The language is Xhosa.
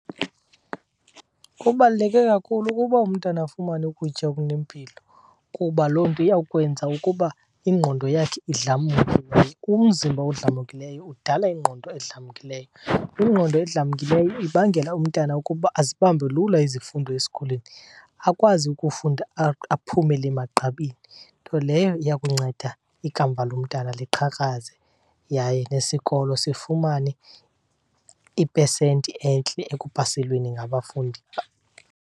Kubaluleke kakhulu ukuba umntana afumane ukutya okunempilo kuba loo nto iyawukwenza ukuba ingqondo yakhe idlamke, ke umzimba odlamkileyo udala ingqondo edlamkileyo. Ingqondo edlamkileyo ibangela umntana ukuba azibambe lula izifundo esikolweni, akwazi ukufunda aphumele emagqabini. Nto leyo iya kunceda ikamva lomntana liqhakaze yaye nesikolo sifumane ipesenti entle ekupaselweni ngabafundi.